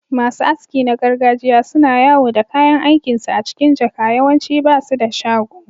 Masu aski na gargajiya suna yawo da kayan aikinsu a cikin jaka, yawanci ba su da shago.